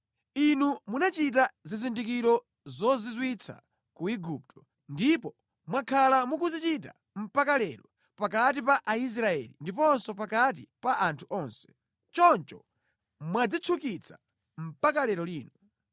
Inu munachita zizindikiro zozizwitsa ku Igupto, ndipo mwakhala mukuzichita mpaka lero, pakati pa Aisraeli ndiponso pakati pa anthu onse. Choncho mwadzitchukitsa mpaka lero lino.